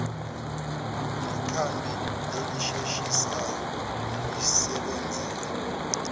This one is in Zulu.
nekhambi elisheshisayo nelisebenzayo